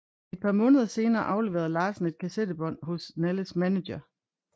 Et par måneder senere afleverede Larsen et kassettebånd hos Nalles manager